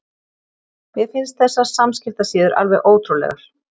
Mér finnst þessar samskiptasíður alveg ótrúlegar.